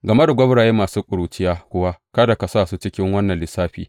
Game da gwauraye masu ƙuruciya kuwa, kada ka sa su cikin wannan lissafi.